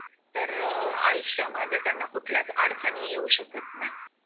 तर आयुष्यामध्ये त्यांना कुठलाच अडचणी येऊ शकत नाही